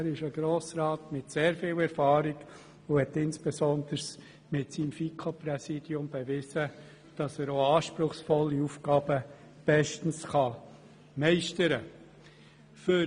Er ist ein Grossrat mit sehr viel Erfahrung und hat insbesondere beim FiKo-Präsidium bewiesen, dass er auch anspruchsvolle Aufgaben bestens meistern kann.